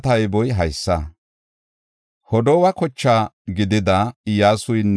Gadalla yara, Gahaara yara, Raya yara,